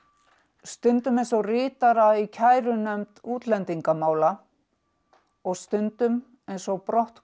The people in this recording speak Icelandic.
stundum eins og ritara í kærunefnd útlendingamála og stundum eins og